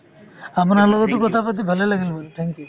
আপোনাৰ লগতো কথা পাতি ভালে লাগিল বোলো thank you।